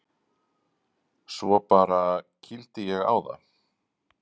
Svo bara. kýldi ég á það.